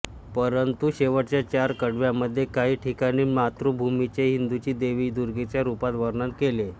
परंतु शेवटच्या चार कडव्यांमध्ये काही ठिकाणी मातृभूमीचे हिदूंची देवी दुर्गेच्या रूपात वर्णन केले आहे